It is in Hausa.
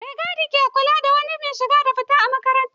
Mai gadi ke lura da duk wani mai shiga da fita a makaranta